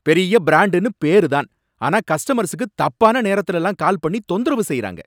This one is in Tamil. பெரிய பிராண்டுனு பேரு தான், ஆனா கஸ்டமர்ஸுக்கு தப்பான நேரத்துலலாம் கால் பண்ணி தொந்தரவு செய்யுறாங்க.